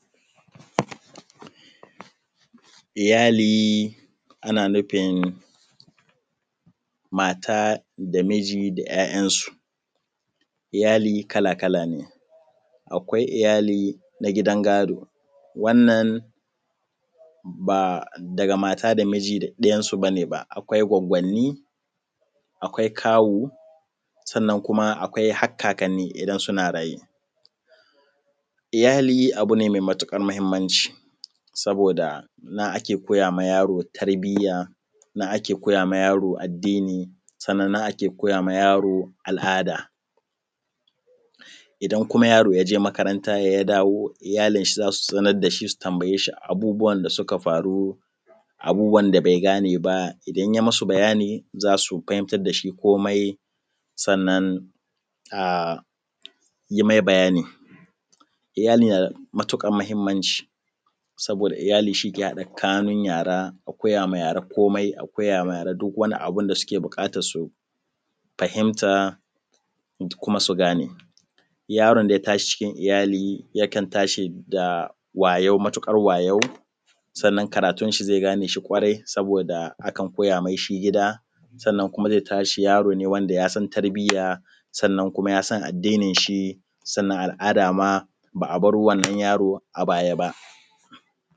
Iyali ana nufin mata da miji da 'ya'yansu iyali kala-kala ne akwai iyali na gidan gado wannan ba daga mata da miji ba duk ɗiyansu ba ne ba akwai gwaggwanni akwai kawu sannan kuma akwai har kakanni idan suna raye. Iyali abu ne mai matuƙar mahimmanci saboda na ake koya wa yaro tarbiyya nan ake koya wa yaro addini sannan nan ake koya wa yaro al'ada idan kuma yaro ya je makarata ya dawo iyalinsa za su zunar da shi su tambaye shi duk abubuwan da suka faru da abubuwa da bai gane ba idan ya yi musu bayani za su fahimtar da shi komai Sannan kuma a yi mai bayani. Iyali na da matukar muhimmanci saboda Iyali shi ke haɗa kanun Yara a koya ma yara komai a koya ma yara duk wani abu da suke buƙatar su fahimta kuma su gane yaron da ya tashi cikin iyalai yakan tashi da karfi da wayau Sannan karatun shi zai gane shi ƙwarai saboda akan koya masa shi gida. Sannan kuma zai tashi yaro ne mai tarbiya kuma yasan addinin shi sannan al'ada ma ba a bar wannan yaro a baya ba.